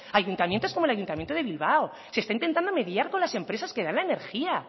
ayuntamientos como el ayuntamiento de bilbao se está intentando mediar con las empresas que dan la energía